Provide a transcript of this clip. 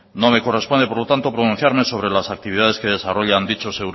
no me corresponde por lo tanto pronunciarme sobre las actividades que desarrollan dichos